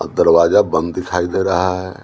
दरवाजा बंद दिखाई दे रहा है।